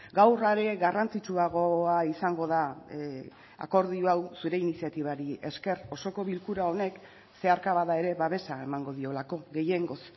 gaur are garrantzitsuagoa izango da akordio hau zure iniziatibari esker osoko bilkura honek zeharka bada ere babesa emango diolako gehiengoz